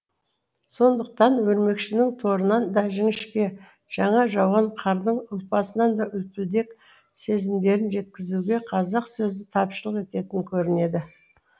сондықтан өрмекшінің торынан да жіңішке жаңа жауған қардың ұлпасынан да үлпілдек сезімдерін жеткізуге қазақ сөзі тапшылық ететін көрінеді